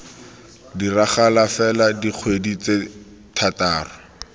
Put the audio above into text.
diragala fela dikgwedi tse thataro